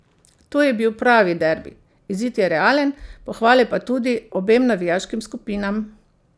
To je bil pravi derbi, izid je realen, pohvale pa tudi obem navijaškim skupinam.